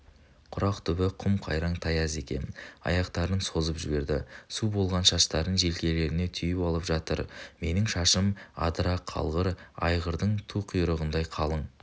құрақ түбі құм-қайраң тайыз екен аяқтарын созып жіберді су болған шаштарын желкелеріне түйіп алып жатыр менің шашым адыра қалғыр айғырдың ту құйрығындай қалың